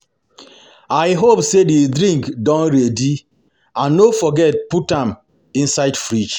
I I hope say the drinks don ready and no forget to put am inside fridge